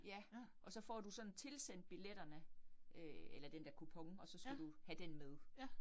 Ja, og så får du sådan tilsendt billetterne øh eller den der kupon, og så skal du så have den med